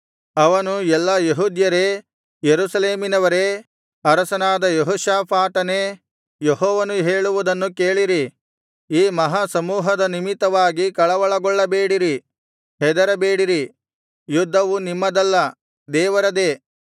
ಅವನು ಎಲ್ಲಾ ಯೆಹೂದ್ಯರೇ ಯೆರೂಸಲೇಮಿನವರೇ ಅರಸನಾದ ಯೆಹೋಷಾಫಾಟನೇ ಯೆಹೋವನು ಹೇಳುವುದನ್ನು ಕೇಳಿರಿ ಈ ಮಹಾಸಮೂಹದ ನಿಮಿತ್ತವಾಗಿ ಕಳವಳಗೊಳ್ಳಬೇಡಿರಿ ಹೆದರಬೇಡಿರಿ ಯುದ್ಧವು ನಿಮ್ಮದಲ್ಲ ದೇವರದೇ